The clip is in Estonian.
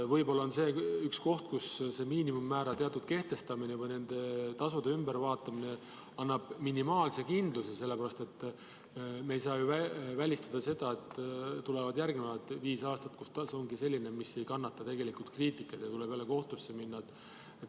Võib-olla see on üks koht, kus see miinimummäära kehtestamine või tasude ümbervaatamine annab minimaalse kindluse, sest me ei saa välistada seda, et tulevad järgmised viis aastat, kui tasu ongi selline, mis ei kannata kriitikat, ning jälle tuleb kohtusse minna.